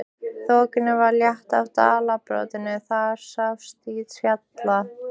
Þokunni var að létta af dalbotninum, það sást til fjalla.